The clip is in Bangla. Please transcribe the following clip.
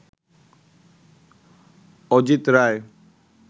অজিত রায়